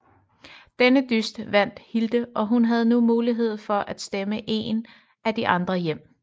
Denne dyst vandt Hilde og hun havde nu mulighed for at stemme en af de andre hjem